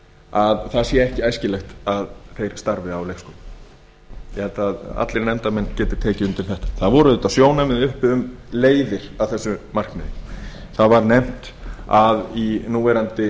að það sé ekki æskilegt að þeir starfi á leikskólum ég held að allir nefndarmenn geti tekið undir þetta það voru auðvitað sjónarmið uppi um leiðir að þessu markmiði það var nefnt að í núverandi